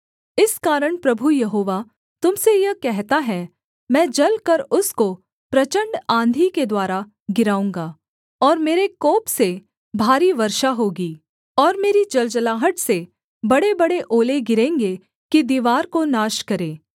इस कारण प्रभु यहोवा तुम से यह कहता है मैं जलकर उसको प्रचण्ड आँधी के द्वारा गिराऊँगा और मेरे कोप से भारी वर्षा होगी और मेरी जलजलाहट से बड़ेबड़े ओले गिरेंगे कि दीवार को नाश करें